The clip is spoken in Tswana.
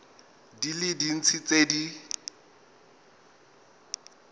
di le dintsi tse di